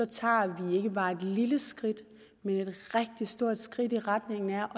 tager vi ikke bare et lille skridt men et rigtig stort skridt i retning af